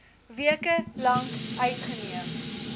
weke lank uitgeneem